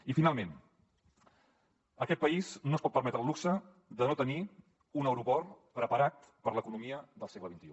i finalment aquest país no es pot permetre el luxe de no tenir un aeroport preparat per a l’economia del segle xxi